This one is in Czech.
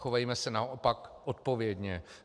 Chovejme se naopak odpovědně.